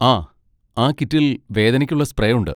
ആ, ആ കിറ്റിൽ വേദനയ്ക്കുള്ള സ്പ്രേ ഉണ്ട്.